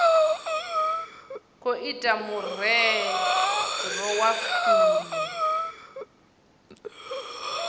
khou ita murole wa fumi